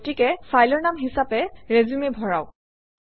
গতিকে ফাইলৰ নাম হিচাপে ৰিচিউম ভৰাওক